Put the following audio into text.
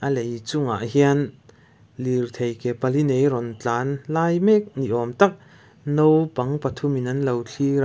a lei chungah hian lirthei ke pali nei a rawn tlan lai mek ni awm tak naupang pathum in anlo thlir a.